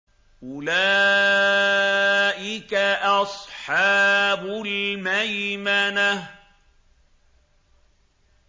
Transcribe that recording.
أُولَٰئِكَ أَصْحَابُ الْمَيْمَنَةِ